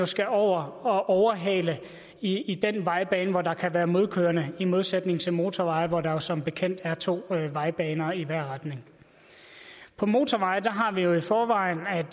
skal over og overhale i i den vejbane hvor der kan være modkørende i modsætning til på motorveje hvor der som bekendt er to vejbaner i hver retning på motorveje har vi det i forvejen